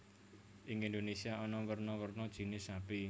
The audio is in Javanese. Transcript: Ing Indonesia ana werna werna jinis sapi